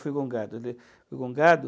Eu fui. Ele, fui